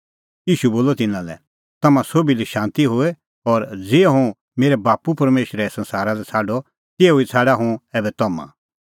ईशू बोलअ तिन्नां लै तम्हां सोभी लै शांती होए और ज़िहअ हुंह मेरै बाप्पू परमेशरै संसारा लै छ़ाडअ तिहअ ई छ़ाडा हुंह ऐबै तम्हां